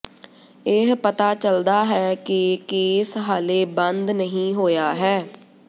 ਇਹ ਪਤਾ ਚਲਦਾ ਹੈ ਕਿ ਕੇਸ ਹਾਲੇ ਬੰਦ ਨਹੀਂ ਹੋਇਆ ਹੈ